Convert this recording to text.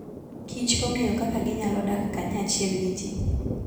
Kich ong'eyo kaka ginyalo dak kanyachiel gi ji.